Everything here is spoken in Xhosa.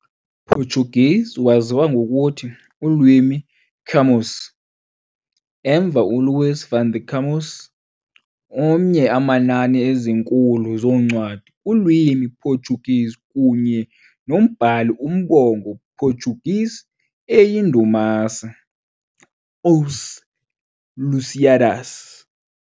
Portuguese waziwa ngokuthi "ulwimi Camões", emva uLuís Vaz de Camões, omnye amanani ezinkulu zoncwadi kulwimi Portuguese kunye nombhali umbongo Portuguese eyindumasi, "Os Lusíadas".